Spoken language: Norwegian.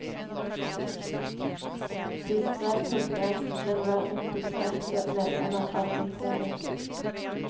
De skrev på gresk, men var integrerte medlemmer av imperiet.